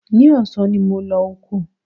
Ní ọ̀sán ni mo máa lọ oko